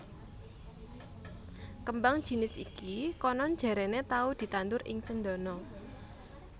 Kembang jinis iki konon jarene tau ditandhur ing Cendana